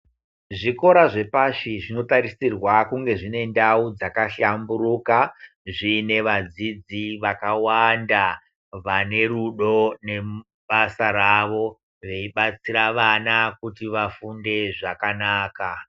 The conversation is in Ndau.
Zvikora zvepashi, zvinotarisirwa kunge zvine ndau dzakahlamburuka, zviine vadzidzi vakawanda, vane rudo nebasa rawo, veibatsira vana kuti vafunde zvakanaka.